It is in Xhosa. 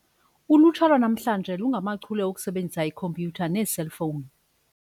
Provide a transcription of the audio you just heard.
Ulutsha lwanamhla lungachule okusebenzisa ikhompyutha neeselfowuni.